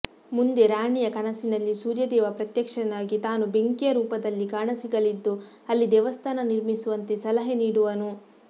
ಮುಂದೆ ರಾಣಿಯ ಕನಸಿನಲ್ಲಿಸೂರ್ಯದೇವ ಪ್ರತ್ಯಕ್ಷನಾಗಿ ತಾನು ಬೆಂಕಿಯ ರೂಪದಲ್ಲಿಕಾಣಸಿಗಲಿದ್ದು ಅಲ್ಲಿದೇವಸ್ಥಾನ ನಿರ್ಮಿಸುವಂತೆ ಸಲಹೆ ನೀಡುವನು